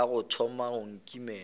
ka o thoma go nkimela